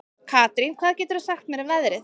Karín, hvað geturðu sagt mér um veðrið?